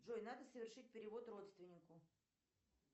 джой надо совершить перевод родственнику